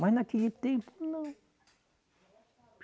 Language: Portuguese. Mas naquele tempo, não.